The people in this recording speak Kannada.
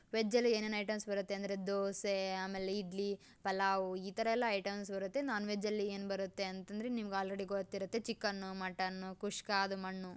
ವೆಜ್ ಅಲ್ಲಿ ಏನೇನು ಐಟೆಮ್ಸ ಬರುತ್ತೆ ಅಂದ್ರೆ ದೋಸೆ ಆಮೇಲೆ ಇಡ್ಲಿ ಪುಲಾವ್ ಈ ತರ ಎಲ್ಲ ಐಟೆಮ್ಸ ಬರುತ್ತೆ ನೋನ್ವೇಜ್ನಲ್ಲಿ ಏನ್ ಬರುತ್ತೆ ಅಂತಂದ್ರೆ ನಿಮಗೆ ಆಲ್ರೆಡಿ ಗೊತ್ತಿರುತ್ತೆ ಚಿಕನ್ನು ಮಟ್ಟನ್ನು ಕುಸ್ಕ ಅದು ಮಣ್ಣು--